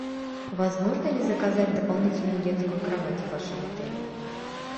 возможно ли заказать дополнительную детскую кровать в вашем отеле